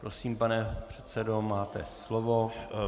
Prosím, pane předsedo, máte slovo.